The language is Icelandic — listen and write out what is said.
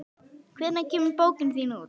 Hvenær kemur bókin þín út?